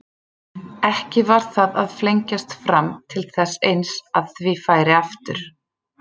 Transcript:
Ekki var það að flengjast fram til þess eins að því færi aftur?